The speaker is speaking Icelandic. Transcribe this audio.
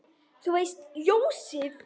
Þú veist, ljósið